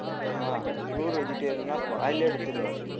உம் pure vegetarian ன்னா வாயிலேயே அடிச்சிடுவேன்